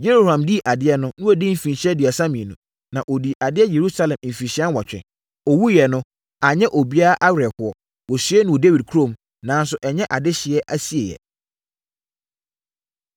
Yehoram dii adeɛ no, na wadi mfirinhyia aduasa mmienu, na ɔdii adeɛ Yerusalem mfirinhyia nwɔtwe. Ɔwuiɛ no, anyɛ obiara awerɛhoɔ. Wɔsiee no Dawid kurom, nanso ɛnyɛ adehyeɛ asieeɛ.